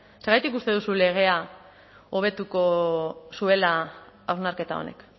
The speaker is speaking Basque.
zergatik uste duzu legea hobetuko zuela hausnarketa honek